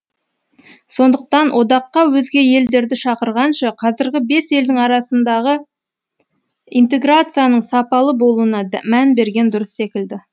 сондықтан одаққа өзге елдерді шақырғанша қазіргі бес елдің арасындағы интеграцияның сапалы болуына мән берген дұрыс секілді